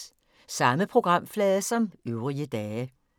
Samme programflade som øvrige dage